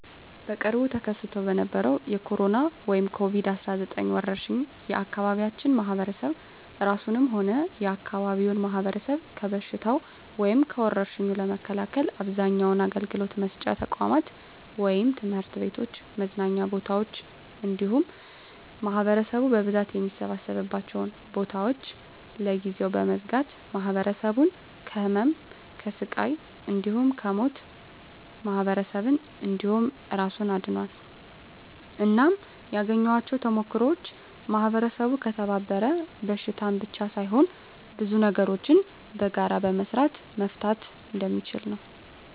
በቅርቡ ተከስቶ በነበረዉ በኮሮና(ኮቪድ 19) ወረርሽ የአካባቢያችን ማህበረሰብ እራሱንም ሆነ የአካባቢውን ማህበረሰብ ከበሽታዉ (ከወርሽኙ) ለመከላከል አብዛኛዉን አገልግሎት መስጫ ተቋማት(ትምህርት ቤቶችን፣ መዝናኛ ቦታወችን እንዲሁም ማህበረሰቡ በብዛት የሚሰበሰብባቸዉን ቦታወች) ለጊዜዉ በመዝጋት ማህበረሰቡን ከህመም፣ ከስቃይ እንዲሁም ከሞት ማህበረሰብን እንዲሁም እራሱን አድኗል። እናም ያገኘኋቸዉ ተሞክሮወች ማህበረሰቡ ከተባበረ በሽታን ብቻ ሳይሆን ብዙ ነገሮችን በጋራ በመስራት መፍታት እንደሚችል ነዉ።